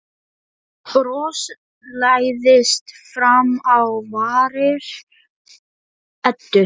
Bros læðist fram á varir Eddu.